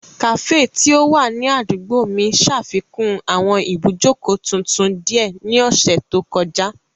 Kafee ti o wa ni adugbo mi ṣafikun awọn ibujoko tuntun diẹ ni ọsẹ to kọja.